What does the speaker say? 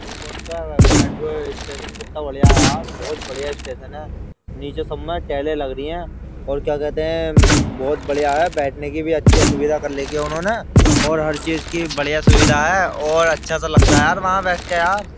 Airport का metro station कितना बढ़िया है यार बहुत बढ़िया स्टेशन है। नीचे सबमे टाइलें लग रही है और क्या कहते है उम्म बहुत बढ़िया है और बैठने की भी अच्छी सुविधा है उन्होंने और हर चीज़ की बढ़िया सुविधा है और अच्छा सा लगता है वहाँ बैठ के यार।